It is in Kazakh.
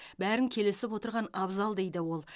бәрін келісіп отырған абзал дейді ол